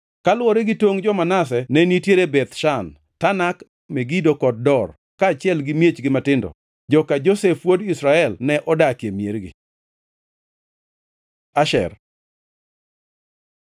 Kaluwore gi tongʼ jo-Manase ne nitiere Beth Shan, Tanak, Megido kod Dor, kaachiel gi miechgi matindo. Joka Josef wuod Israel ne odakie miergi. Asher